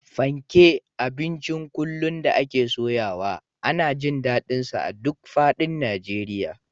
Fanke, abincin kullum da ake soyawa, ana jin daɗinsa a duk faɗin Najeriya